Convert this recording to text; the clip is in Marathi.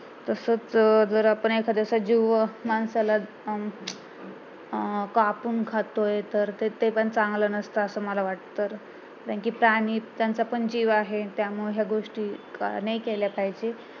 तसंच जर आपण एखाद्याचा जीव माणसाला अं कापून खातोय तर ते पण चांगलं नसते असं मला वाटत कारण कि प्राणी त्यांचा पण जीव आहे त्यामूळ या गोष्टी नाही केल्या पाहिजे